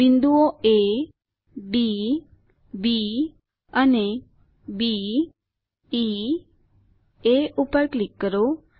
બિંદુઓ A D B અને B E A પર ક્લિક કરો